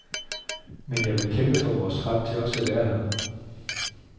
Men vil jeg vil kæmpe for vor ret til også at være her.